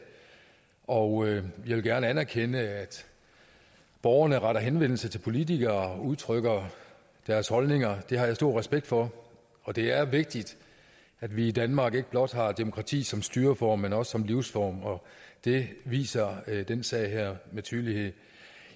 og jeg vil gerne anerkende at borgere retter henvendelse til politikere og udtrykker deres holdninger det har jeg stor respekt for og det er vigtigt at vi i danmark ikke blot har demokrati som styreform men også som livsform det viser den sag her med tydelighed